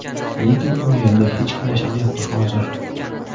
Lekin u yerda hech kim yashamayapti hozir.